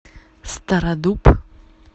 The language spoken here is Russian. стародуб